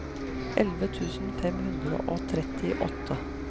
elleve tusen fem hundre og trettiåtte